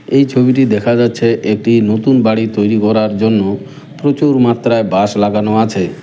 এই ছবিটি দেখা যাচ্ছে একটি নতুন বাড়ি তৈরি করার জন্য প্রচুর মাত্রায় বাঁশ লাগানো আছে।